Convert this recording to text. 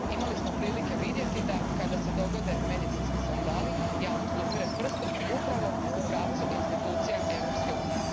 Imali smo prilike vidjeti da kada se dogode medicinski skandali javnost upire prstom upravo u pravcu institucija Europske unije.